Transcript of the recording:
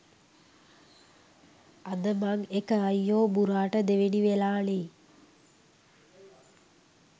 අද මං එක අයියෝ බුරාට දෙවෙනි වෙලා නේ